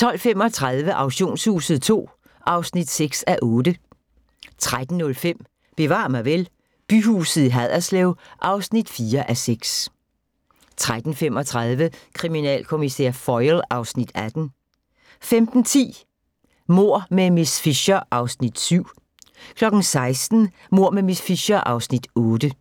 12:35: Auktionshuset II (6:8) 13:05: Bevar mig vel: Byhuset i Haderslev (4:6) 13:35: Kriminalkommissær Foyle (Afs. 18) 15:10: Mord med miss Fisher (Afs. 7) 16:00: Mord med miss Fisher (Afs. 8)